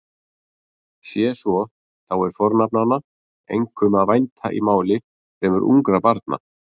Sé svo þá er fornafnanna einkum að vænta í máli fremur ungra barna.